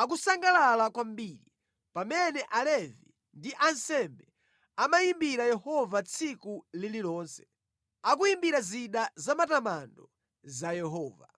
akusangalala kwambiri, pamene Alevi ndi ansembe amayimbira Yehova tsiku lililonse, akuyimbira zida zamatamando za Yehova.